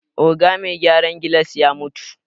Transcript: Oga me gyaran gilas ya mutu